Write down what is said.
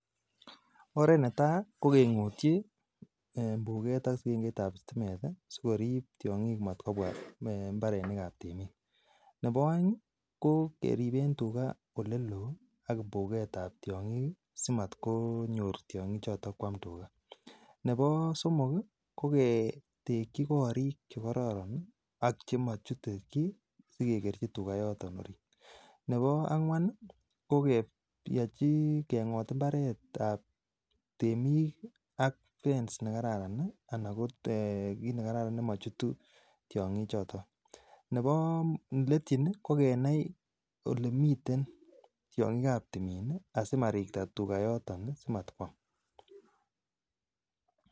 Orat netaa kokong'otchi mbuket ak sikengetab sitimet ii sikorip tiong'ik mat kobwa mbarenikab temik, nebo aeng kokeripen tuga oleloo ak mbuketab tiong'ik simat konyor tiong'ichoton kwam tugaa, ne bo somok koketekyi korik chekororon ak chemachute chii akekerchi tugaa yoton, nebo angwan ko keng'ot mbaretab temik ak fence nekararan ne kit nekararan nemochutu tiong'ichoton, neletyin ii kokenai olemiten tiong'ikab timin asimariktaa tugaa yoton asimatkwam.